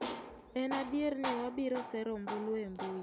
En adier ni wabiro sero ombulu e mbui.